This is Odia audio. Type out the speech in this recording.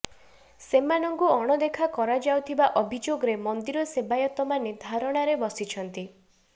ସେମାନଙ୍କୁ ଅଣଦେଖା କରାଯାଉ ଥିବା ଅଭିଯୋଗରେ ମନ୍ଦିର ସେବାୟତମାନେ ଧାରଣାରେ ବସିଛନ୍ତି